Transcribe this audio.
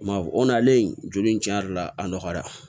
Maa o nalen joli in tiɲɛ yɛrɛ la a nɔgɔyara